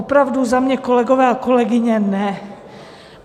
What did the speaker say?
Opravdu za mě, kolegové a kolegyně, ne.